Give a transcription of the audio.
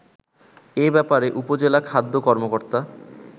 এ ব্যপারে উপজেলা খাদ্য কর্মকর্তা